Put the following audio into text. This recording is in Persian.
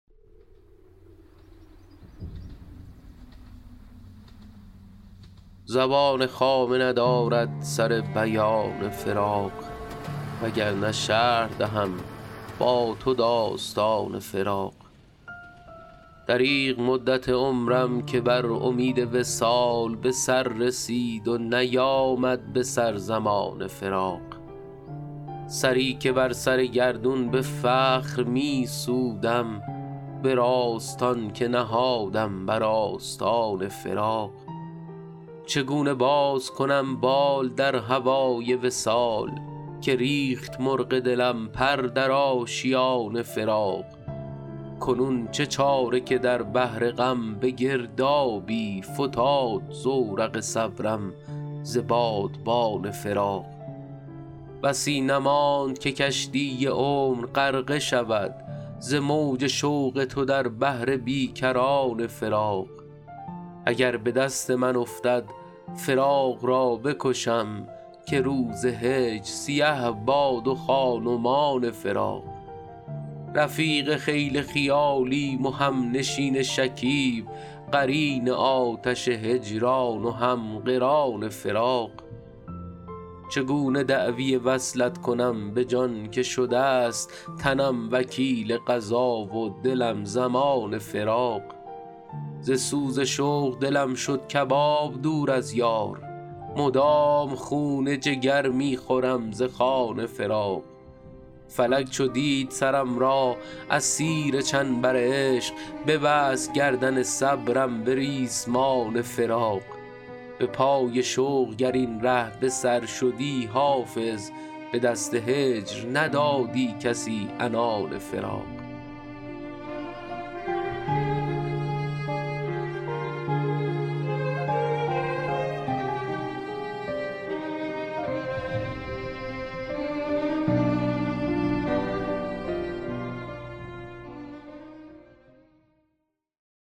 زبان خامه ندارد سر بیان فراق وگرنه شرح دهم با تو داستان فراق دریغ مدت عمرم که بر امید وصال به سر رسید و نیامد به سر زمان فراق سری که بر سر گردون به فخر می سودم به راستان که نهادم بر آستان فراق چگونه باز کنم بال در هوای وصال که ریخت مرغ دلم پر در آشیان فراق کنون چه چاره که در بحر غم به گردابی فتاد زورق صبرم ز بادبان فراق بسی نماند که کشتی عمر غرقه شود ز موج شوق تو در بحر بی کران فراق اگر به دست من افتد فراق را بکشم که روز هجر سیه باد و خان و مان فراق رفیق خیل خیالیم و همنشین شکیب قرین آتش هجران و هم قران فراق چگونه دعوی وصلت کنم به جان که شده ست تنم وکیل قضا و دلم ضمان فراق ز سوز شوق دلم شد کباب دور از یار مدام خون جگر می خورم ز خوان فراق فلک چو دید سرم را اسیر چنبر عشق ببست گردن صبرم به ریسمان فراق به پای شوق گر این ره به سر شدی حافظ به دست هجر ندادی کسی عنان فراق